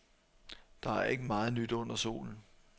Der er ikke meget nyt under solen.